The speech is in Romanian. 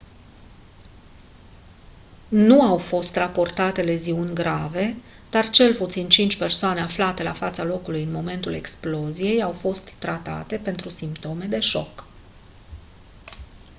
nu au fost raportate leziuni grave dar cel puțin cinci persoane aflate la fața locului în momentul exploziei au fost tratate pentru simptome de șoc